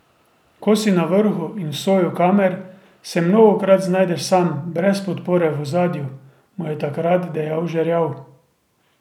Ko si na vrhu in v soju kamer, se mnogokrat znajdeš sam, brez podpore v ozadju, mu je takrat dejal Žerjav.